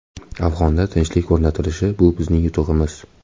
Afg‘onda tinchlik o‘rnatilishi bu bizning yutug‘imiz.